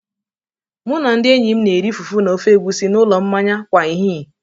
Mụ na ndị enyi m na-eri fufu na ofe egusi n'ụlọ mmanya kwa ehihie.